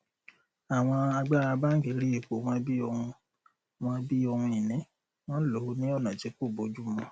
àwọn àgbàrá bánkì rí ipò wọn bí ohun wọn bí ohun ìní wọn lò ó ní ọnà tí kò bójúmu